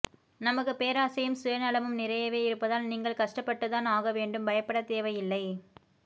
நமக்கு பேராசையும் சுயநலமும் நிறையவே இருப்பதால் நீங்கள் கஷ்டப்பட்டு தான் ஆகவேண்டும் பயப்படத்தேவையில்லை